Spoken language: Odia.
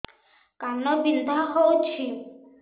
କାନ ବିନ୍ଧା ହଉଛି